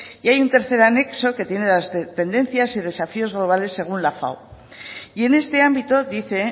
y hay un tercer anexo que tiene las tendencias y desafíos globales según la fao y en este ámbito dice